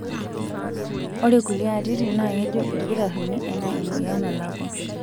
Ore kulie atitin naa kejo ilkitarrini ena emoyin nalakua.